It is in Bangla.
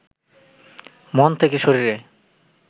মন থেকে শরীরে